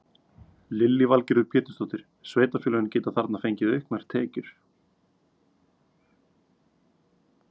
Lillý Valgerður Pétursdóttir: Sveitarfélögin geta þarna fengið auknar tekjur?